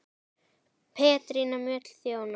Petrína Mjöll þjónar.